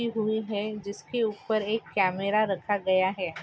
रखे हुए है जिसके ऊपर एक कॅमेरा रखा गया है।